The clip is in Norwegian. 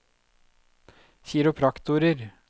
kiropraktorer